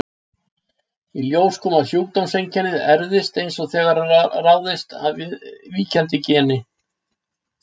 Í ljós kom að sjúkdómseinkennið erfist eins og það ráðist af víkjandi geni.